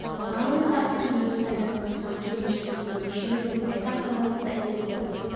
ал енді аттың жүрісін айтатын болсақ кеме жүрісіндей мешеу емес айта қаларлықтай тез болатын